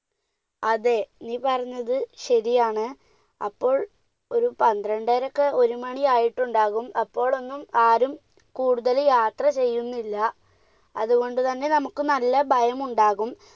അതെ, നീ പറഞ്ഞത് ശരിയാണ്. അപ്പോൾ ഒരു പന്ത്രണ്ടര -ഒരുമണി ആയിട്ടുണ്ടാകും. അപ്പോഴൊന്നും ആരും കൂടുതൽ യാത്ര ചെയ്യുന്നില്ല. അതുകൊണ്ട് തന്നെ നമുക്ക് നല്ല ഭയമുണ്ടാകും.